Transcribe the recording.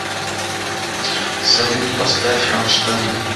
салют поставь рамштайн